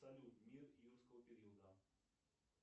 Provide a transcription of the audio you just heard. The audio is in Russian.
салют мир юрского периода